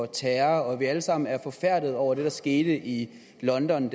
terror og at vi alle sammen er forfærdede over det der skete i london